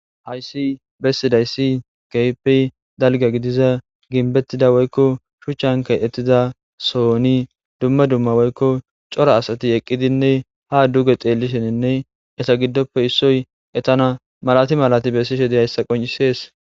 Hayssi bessiday si geypey dalga gidiza ginbettida woykko shuchchankay ettiza sooni dumma dumma woykko cora asati eqqidinne ha duge xeellisheninne esa giddoppe issoy etana malati malati bessishe de hayssa qoncisees.